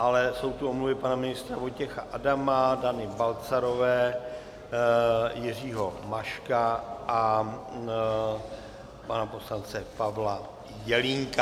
Ale jsou tu omluvy pana ministra Vojtěcha Adama, Dany Balcarové, Jiřího Maška a pana poslance Pavla Jelínka.